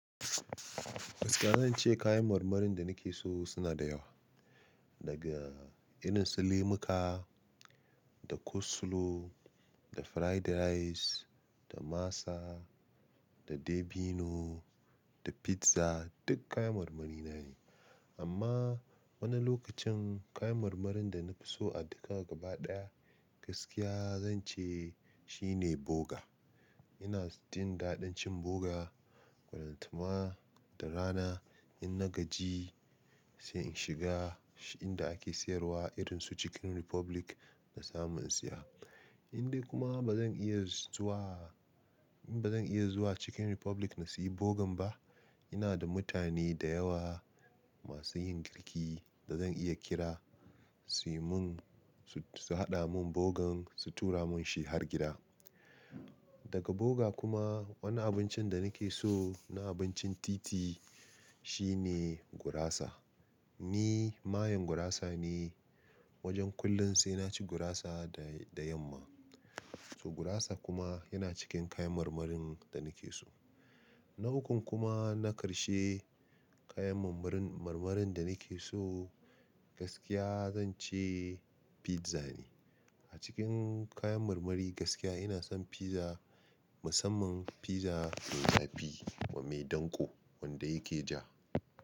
Gaskiya zan ce kayan marmarin da nake so suna da yawa. Daga irin su lemuka, da coleslaw, da fried rice, da masa, da dabino, da pizza duk kayan marmari na ne. Amma wani lokacin kayan marmarin da na fi so a duka gaba ɗaya, gaskiya zan ce shine boga. Ina jin daɗin cin boga ballantana da rana. In na gaji sai in shiga inda ake sayarwa irin su Chicken Republic na samun in siya. In dai kuma ba zan iya zuwa, in ba zan iya zuwa Chicken Republic na siyi bogan ba, ina da mutane da yawa masu yin girki da zan iya kira su yi mun, su haɗa mun bogan su tura mun shi har gida. Daga boga kuma wani abincin da nake so na abincin titi shi ne gurasa. Ni mayen gurasa ne, wajen kullum sai naci gurasa da, da yamma. To gurasa kuma yana cikin kayan marmarin da nake so. Na ukun kuma na ƙarshe kayan marmarin, marmarin da nake so gaskiya zan ce pizza ne. A cikin kayan marmari gaskiya ina son pizza, musamman pizza mai zafi kuma mai ɗanko wanda yake ja.